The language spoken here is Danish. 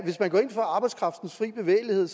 hvis man går ind for arbejdskraftens fri bevægelighed